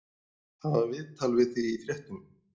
Það var viðtal við þig í fréttunum.